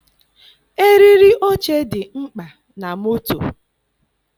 Eriri oche dị mkpa na moto.